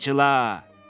Qamçıla!